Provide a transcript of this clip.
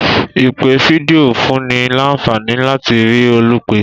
Ìpè fídíò fúnni lànfàní láti rí olùpè